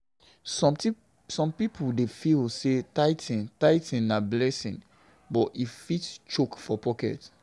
Some people dey feel say tithing tithing na blessing, but e fit choke for pocket.